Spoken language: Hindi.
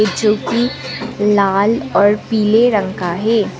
जोकि लाल और पीले रंगका है।